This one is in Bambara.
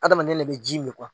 Adamaden le bɛ ji min